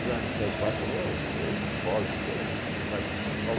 já. Meu pai falou, você escolhe, você vai para São Paulo.